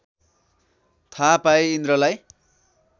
थाहा पाई इन्द्रलाई